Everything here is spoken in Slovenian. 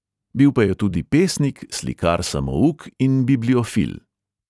Bil pa je tudi pesnik, slikar samouk in bibliofil.